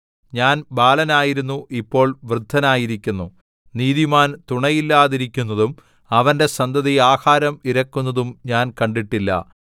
ഞാൻ ബാലനായിരുന്നു ഇപ്പോൾ വൃദ്ധനായിരിക്കുന്നു നീതിമാൻ തുണയില്ലാതിരിക്കുന്നതും അവന്റെ സന്തതി ആഹാരം ഇരക്കുന്നതും ഞാൻ കണ്ടിട്ടില്ല